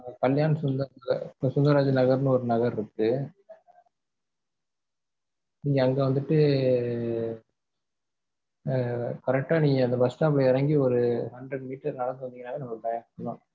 கல்யாண சுந்தர் அஹ் சுந்தராஜ் நகர்ன்னு ஒரு நகர் இருக்கு நீங்க அங்க வந்துட்டு ஆஹ் correct டா நீங்க அந்த bus stop ல இறங்கி ஒரு hundred meters நடந்து வந்தாலே நம்ம bank தான்.